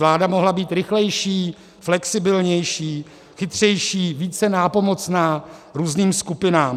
Vláda mohla být rychlejší, flexibilnější, chytřejší, více nápomocná různým skupinám.